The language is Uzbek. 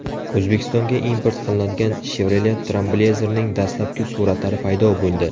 O‘zbekistonga import qilinadigan Chevrolet Trailblazer’ning dastlabki suratlari paydo bo‘ldi .